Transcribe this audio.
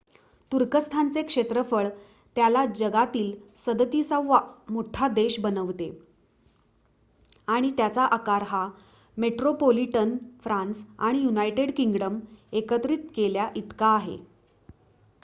तुर्कस्थानचे क्षेत्रफळ त्याला जगातील 37 वा मोठा देश बनवते आणि त्याचा आकार हा मेट्रोपोलिटन फ्रान्स आणि यूनायटेड किंगडम एकत्रित केल्या इतका आहे